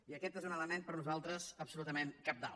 i aquest és un element per nosaltres absolutament cabdal